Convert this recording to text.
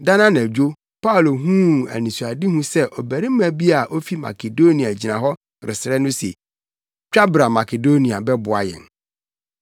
Da no anadwo Paulo huu anisoade sɛ ɔbarima bi a ofi Makedonia gyina hɔ resrɛ no se, “Twa bra Makedonia bɛboa yɛn!”